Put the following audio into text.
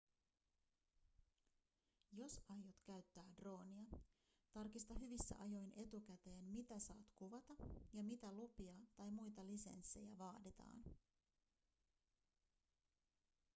jos aiot käyttää droonia tarkista hyvissä ajoin etukäteen mitä saat kuvata ja mitä lupia tai muita lisenssejä vaaditaan